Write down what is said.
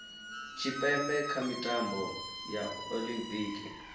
tshipembe kha mitambo ya olimpiki